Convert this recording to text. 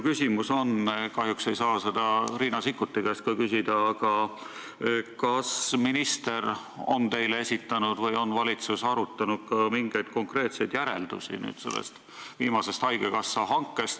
Kahjuks ei saa seda Riina Sikkuti käest küsida, aga kas minister on teile esitanud või on valitsus arutanud mingeid konkreetseid järeldusi sellest viimasest haigekassa hankest?